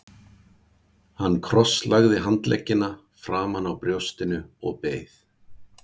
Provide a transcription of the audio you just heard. Hann krosslagði handleggina framan á brjóstinu og beið.